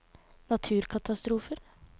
naturkatastrofer